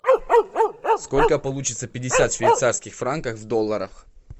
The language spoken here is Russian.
сколько получится пятьдесят швейцарских франков в долларах